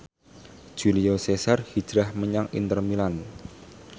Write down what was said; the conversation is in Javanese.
Julio Cesar hijrah menyang Inter Milan